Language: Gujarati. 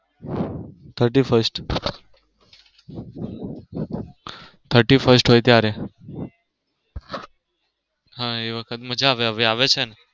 thirty first thirty first ત્યારે હા એ વખતે મજા આવે હવે આવે છે ને.